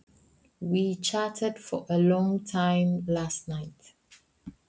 Við spjölluðum lengi í gærkvöldi.